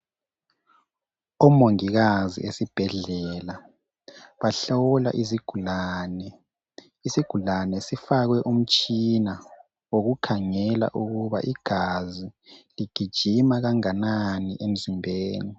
OMongikazi esibhedlela bahlola izigulane. Isigulane sifakwe umtshina wokukhangela ukuba igazi ligijima kanganani emzimbeni.